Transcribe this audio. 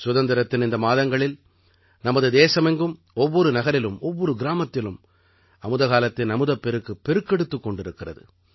சுதந்திரத்தின் இந்த மாதங்களில் நமது தேசமெங்கும் ஒவ்வொரு நகரிலும் ஒவ்வொரு கிராமத்திலும் அமுத காலத்தின் அமுதப்பெருக்கு பெருக்கெடுத்துக் கொண்டிருக்கிறது